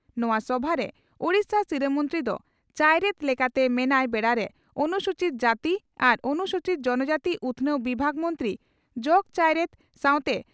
ᱱᱚᱣᱟ ᱥᱚᱵᱷᱟᱨᱮ ᱳᱰᱤᱥᱟ ᱥᱤᱨᱟᱹ ᱢᱚᱱᱛᱨᱤ ᱫᱚ ᱪᱟᱭᱨᱮᱛ ᱞᱮᱠᱟᱛᱮ ᱢᱮᱱᱟᱭ ᱵᱮᱲᱟᱨᱮ ᱚᱱᱩᱥᱩᱪᱤᱛ ᱡᱟᱹᱛᱤ ᱟᱨ ᱚᱱᱩᱥᱩᱪᱤᱛ ᱡᱚᱱᱚᱡᱟᱹᱛᱤ ᱩᱛᱷᱱᱟᱹᱣ ᱵᱤᱵᱷᱟᱜᱽ ᱢᱚᱱᱛᱨᱤ ᱡᱚᱜᱽ ᱪᱟᱭᱨᱮᱛ ᱥᱟᱣᱛᱮ